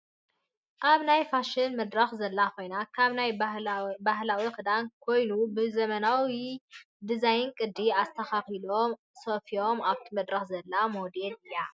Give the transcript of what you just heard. ኣብ ናይ ፋሽን መድረክ ዘላ ኮይና ካብ ናይ ባህዊ ክዳን ካይኑ ብሀመናዊ ድዛይ ቅዲ ኣስተካኪሎም ኣስፍዮ ኣብቲ መድረክ ዘላ ሞዴል እያ።